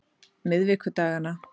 miðvikudaganna